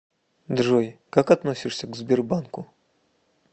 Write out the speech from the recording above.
джой как относишься к сбербанку